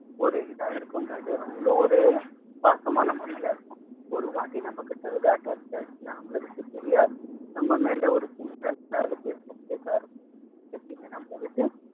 ஒரு இதா இருக்குங்க அது அவ்வளவு ஒரு பாசமான நம்ம மேல இருக்கும் ஒரு வாட்டி நம்ம கிட்ட இது attached ஆயிடுச்சுன்னா நம்மள விட்டு பிரியாது நம்ம மேல இருந்துகிட்டேதான் இருக்கும் எப்பயுமே நம்மள விட்டு